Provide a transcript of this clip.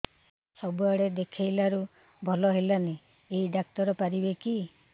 ସବୁଆଡେ ଦେଖେଇଲୁ ଭଲ ହେଲାନି ଏଇ ଡ଼ାକ୍ତର ପାରିବେ କି